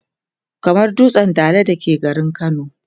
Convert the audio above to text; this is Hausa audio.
kamar dutsen Dala da ke garin kano